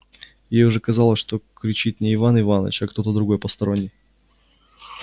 ей уже казалось что кричит не иван иваныч а кто-то другой посторонний